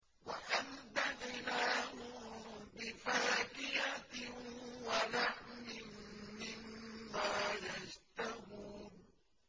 وَأَمْدَدْنَاهُم بِفَاكِهَةٍ وَلَحْمٍ مِّمَّا يَشْتَهُونَ